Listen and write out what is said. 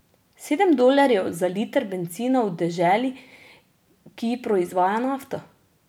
Sedem dolarjev za liter bencina v deželi, ki proizvaja nafto.